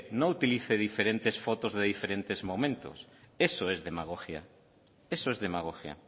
no utilice diferentes fotos de diferentes momentos eso es demagogia eso es demagogia